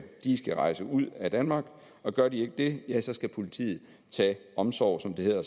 skal rejse ud af danmark gør de ikke det ja så skal politiet tage omsorg som det hedder